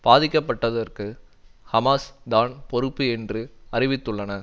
பாதிக்கப்பட்டதற்கு Hamas தான் பொறுப்பு என்றும் அறிவித்துள்ளன